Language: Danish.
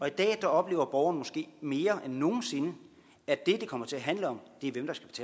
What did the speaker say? i dag oplever borgerne måske mere end nogen sinde at det det kommer til at handle om